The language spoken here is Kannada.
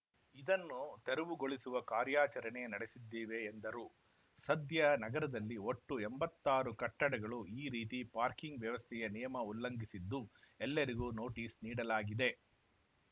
ಇದನ್ನು ತೆರವುಗೊಳಿಸುವ ಕಾರ್ಯಾಚರಣೆ ನಡೆಸಿದ್ದೇವೆ ಎಂದರು ಸದ್ಯ ನಗರದಲ್ಲಿ ಒಟ್ಟು ಎಂಬತ್ತಾರು ಕಟ್ಟಡಗಳು ಈ ರೀತಿ ಪಾರ್ಕಿಂಗ್‌ ವ್ಯವಸ್ಥೆಯ ನಿಯಮ ಉಲ್ಲಂಘಿಸಿದ್ದು ಎಲ್ಲರಿಗೂ ನೋಟಿಸ್‌ ನೀಡಲಾಗಿದೆ